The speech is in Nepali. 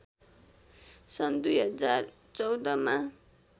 सन् २०१४ मा